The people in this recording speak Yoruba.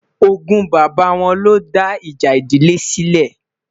ògún bàbá wọn ló dá ìjà ìdílé sile